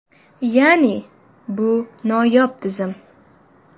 Ya’ni, bu noyob tizim.